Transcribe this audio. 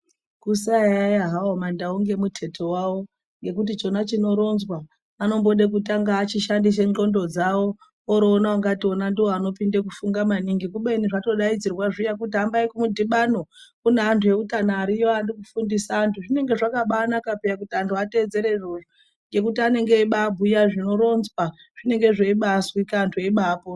Kusayaiya hawo mandau ngemuteto wawo ngekuti chona chinoronzwa anode kutanga achishandise ndxondo dzawo roti ona ndiwo anonyanye kufunga maningi kubeni zvatodaidzirwa zviya kuti hambai kumudhibano kune antu eutano